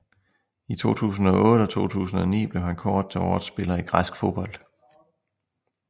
I 2008 og 2009 blev han kåret til årets spiller i græsk fodbold